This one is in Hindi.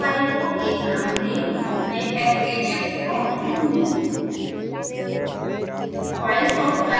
इमेज फाइल को एक नाम दें मैं sbhsplot दूंगी